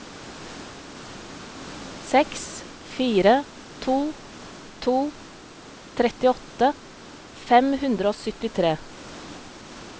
seks fire to to trettiåtte fem hundre og syttitre